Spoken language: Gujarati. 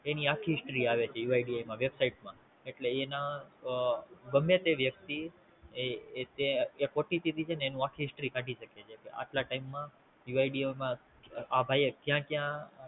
એની આખ્ખી History આવે છે UID માં Website માં એટલે એના ગમે તે વ્યક્તિ એ એક At the office થી છે ને એની આખ્ખી History કાઢી શકે છે કે આટલા ટાઈમ માં UID માં આ ભાઈ એ ક્યાં ક્યાં